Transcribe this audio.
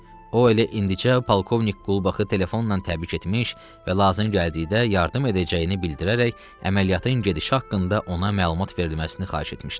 O elə indicə polkovnik Qulbaxı telefonla təbrik etmiş və lazım gəldikdə yardım edəcəyini bildirərək əməliyyatın gedişi haqqında ona məlumat verilməsini xahiş etmişdi.